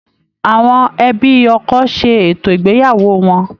Àwọn ẹbí ọkọ ṣe ètò ìgbéyàwó wọn.